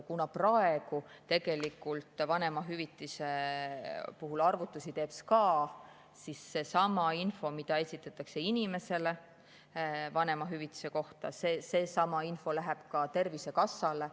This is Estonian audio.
Kuna praegu teeb vanemahüvitise puhul arvutusi SKA, siis seesama info, mida esitatakse inimesele vanemahüvitise kohta, läheb ka Tervisekassale.